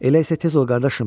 Elə isə tez ol qardaşım.